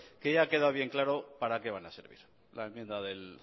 que ya ha quedado bien claro para qué van a servir la enmienda del